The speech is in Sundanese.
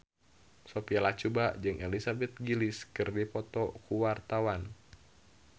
Sophia Latjuba jeung Elizabeth Gillies keur dipoto ku wartawan